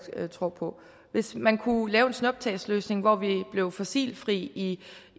tror på hvis man kunne lave en snuptagsløsning hvor vi blev fossilfri i